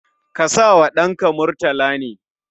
Ka sa wa ɗanka Murtala ne?